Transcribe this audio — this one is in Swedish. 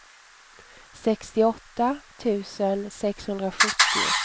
sextioåtta tusen sexhundrasjuttio